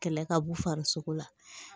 Kɛlɛ ka b'u fari sogo la